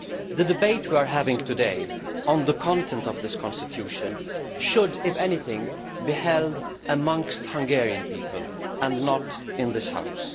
The debate we are having today on the content of this constitution should, if anything, be held amongst Hungarian people, and not in this House.